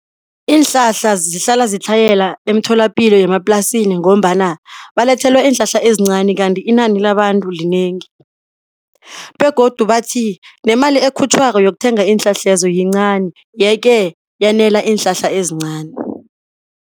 Iinhlahla zihlala ziyatlhayela emtholapilo yemaplasini ngombana balethelwa iinhlahla ezincani kanti inani labantu linengi begodu bathi nemali ekhutjhwako yokuthenga iinhlahlezo yincani yeke yanela iinhlahla ezincani.